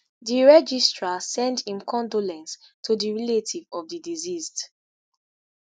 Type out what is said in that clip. di registrar send im condolence to di relative of di deceased.